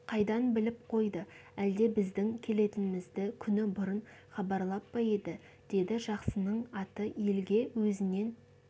қайдан біліп қойды әлде біздің келетінімізді күні бұрын хабарлап па еді деді жақсының аты елге өзінен